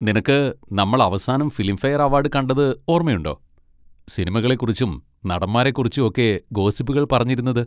നിനക്ക് നമ്മൾ അവസാനം ഫിലിംഫെയർ അവാഡ് കണ്ടത് ഓർമ്മയുണ്ടോ? സിനിമകളെ കുറിച്ചും നടന്മാരെ കുറിച്ചും ഒക്കെ ഗോസിപ്പുകൾ പറഞ്ഞിരുന്നത്?